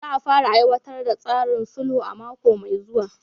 Za a fara aiwatar da tsarin sulhu a mako mai zuwa.